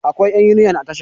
akwai yan uniyal a Tasha